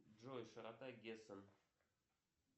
джой широта гессен